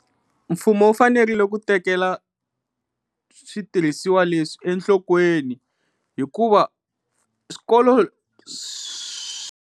Mfumo wu fanerile ku tekela switirhisiwa leswi enhlokweni hikuva swikolo .